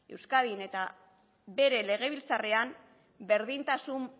euskadin eta bere legebiltzarrean berdintasun